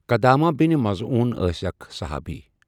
قدامہ بن مظعون ٲسؠ اَکھ صُحابی.